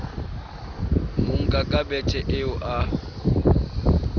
monka ka bethe eo a